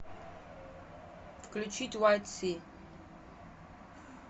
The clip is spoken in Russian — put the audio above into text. включить вайт си